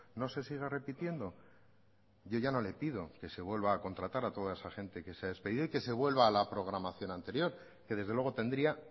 no se siga repitiendo yo ya no le pido que se vuelva a contratar a toda esa gente que se ha despedido y que se vuelva a la programación anterior que desde luego tendría